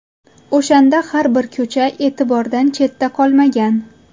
O‘shanda har bir ko‘cha e’tibordan chetda qolmagan.